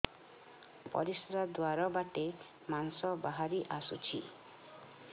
ପରିଶ୍ରା ଦ୍ୱାର ବାଟେ ମାଂସ ବାହାରି ଆସୁଛି